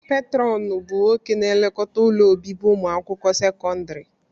Petrọnu bụ nwoke na-elekọta ụlọ obibi ụmụakwụkwọ sekọndrị.